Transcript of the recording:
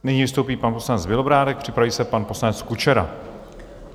Nyní vystoupí pan poslanec Bělobrádek, připraví se pan poslanec Kučera.